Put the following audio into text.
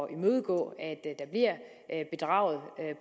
at imødegå at